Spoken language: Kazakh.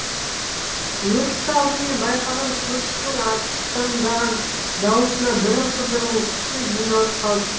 өртті алдымен байқаған көршісінің аттандаған даусына бірқыдыру кісі жиналып қалыпты